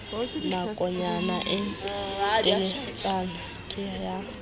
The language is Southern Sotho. nakonyana e teletsana ke ha